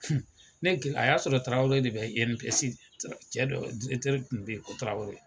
Ne a y'a sɔrɔ Tarawele de bɛ INPS cɛ dɔ tun bɛ yen ko Tarawele